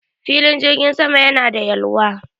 Filin jirgin sama yana da yalwa